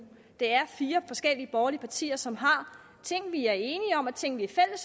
det er fire forskellige borgerlige partier som har ting vi er enige om og ting vi er